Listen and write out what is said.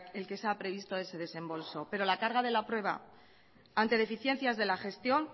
el que se ha previsto ese desembolso pero la carga de la prueba ante deficiencias de la gestión